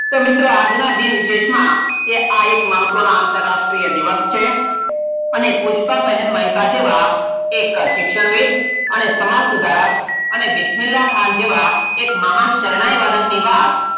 તો મિત્રો આજનાં દિન વિશેષમાં આ એક મહત્વનો આંતરાષ્ટ્રીય દિવસ છે અને પુષ્પાંબેન મહીસા જેવાં એક શિક્ષણવી અને સમાજસુધારક અને વિસમીલ્લાખાન જેવા એક મહાન શહનાઈ વાદક ની વાત,